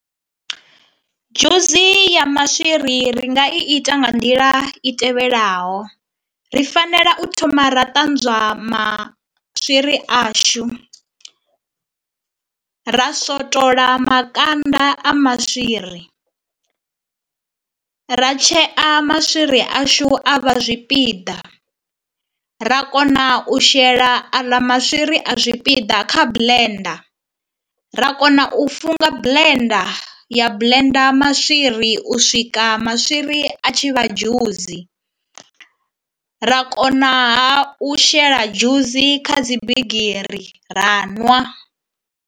Dzhusi ya maswiri ri nga i ita nga nḓila i tevhelaho, ri fanela u thoma ra ṱanzwa maswiri ashu, ra swotola makanda a maswiri, ra tshea maswiri ashu a vha zwipiḓa, ra kona u shela aḽa maswiri a zwipiḓa kha blender, ra kona u funga blender ya blender maswiri u swika maswiri a tshi vha dzhusi, ra konaha u shela dzhusi kha dzi bigiri ra nwa.